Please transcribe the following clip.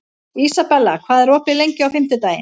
Ísabella, hvað er opið lengi á fimmtudaginn?